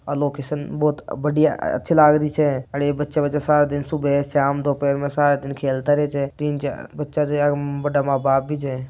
लोकेशन बहुत बढ़िया अच्छा लग रहे हे छे अच्छा ये बच्चा वाचा सब लोग सुबह शाम दोपहर को सारा दिन खेलता रहेता है तिन चार बच्चा बड़ा माँ बाप भी छे।